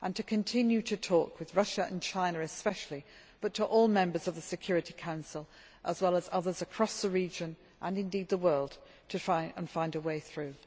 And we should continue to talk with Russia and China especially, but also with all the members of the Security Council, as well as others across the region and indeed the world, in order to try to find a way through.